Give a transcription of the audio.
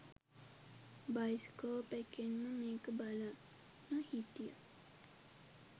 bioscope එකෙන්ම මේක බලන්න හිටිය